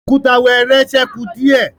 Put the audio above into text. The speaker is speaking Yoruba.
Òkúta wẹẹrẹ sẹku diẹ